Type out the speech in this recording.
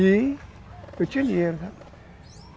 E... Eu tinha dinheiro.